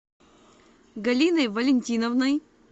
галиной валентиновной